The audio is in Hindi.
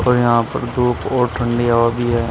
और यहां पर धूप और ठंडी हवा भी है।